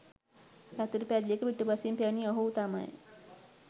යතුරුපැදියක පිටුපසින් පැමිණි ඔහු තමයි